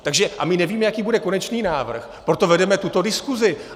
A my nevíme, jaký bude konečný návrh, proto vedeme tuto diskusi.